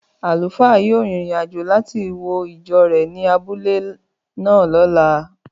Àlùfáà yóò rin ìrìn-àjò láti wo ìjọ rẹ̀ ní abúlé náà lọ́la